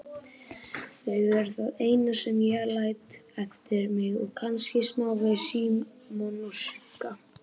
Þau eru það eina sem ég læt eftir mig og kannski smávegis Símon og Sigga.